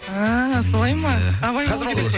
ііі солай ма абай болу